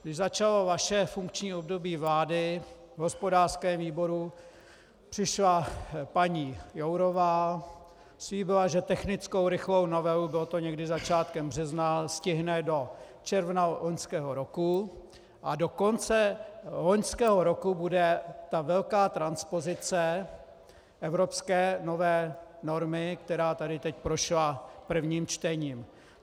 Když začalo vaše funkční období vlády v hospodářském výboru, přišla paní Jourová, slíbila, že technickou rychlou novelu, bylo to někdy začátkem března, stihne do června loňského roku a do konce loňského roku bude ta velká transpozice evropské nové normy, která tady teď prošla prvním čtením.